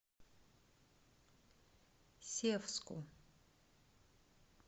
севску